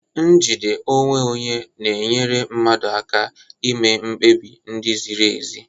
Njide onwe onye na-enyere mmadụ aka ime mkpebi ndị ziri ezi.